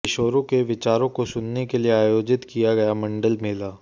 किशोरों के विचारों को सुनने के लिए आयोजित किया गया मंडल मेला